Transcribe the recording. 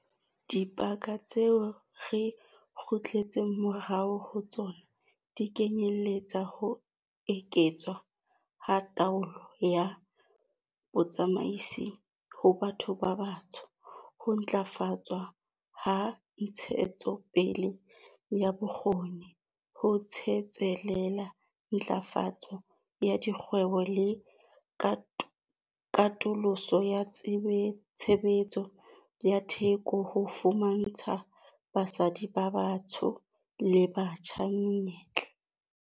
Dibaka tseo re kgutletseng morao ho tsona di kenyeletsa ho eketswa ha taolo ya botsamaisi ho batho ba batsho, ho ntlafatswa ha ntshetsopele ya bokgoni, ho tsetselela ntlafatso ya dikgwebo le katoloso ya tshebetso ya theko ho fumantsha basadi ba batho ba batsho le batjha menyetla.